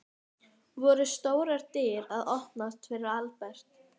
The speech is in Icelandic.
Voru stórar dyr að opnast fyrir Albert?